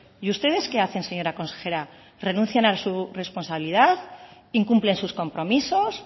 y ustedes que hacen señora consejera renuncia a su responsabilidad incumplen sus compromisos